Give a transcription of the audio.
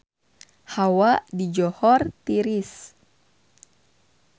Hawa di Johor tiris